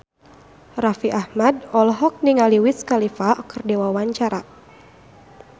Raffi Ahmad olohok ningali Wiz Khalifa keur diwawancara